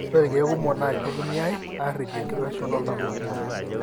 ore ilkeek kumok na kitumiyai aripie enkitashoto oltau.